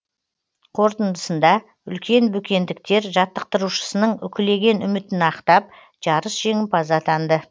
қорытындысында үлкен бөкендіктер жаттықтырушысының үкілеген үмітін ақтап жарыс жеңімпазы атанды